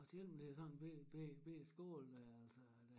Og selvom det er sådan en bette bette bette skole dér altså